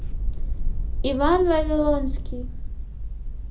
иван вавилонский